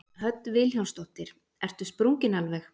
Hödd Vilhjálmsdóttir: Ertu sprunginn alveg?